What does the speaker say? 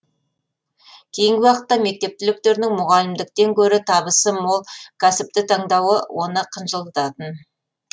кейінгі уақытта мектеп түлектерінің мұғалімдіктен гөрі табысы мол кәсіпті таңдауы оны қынжылтатын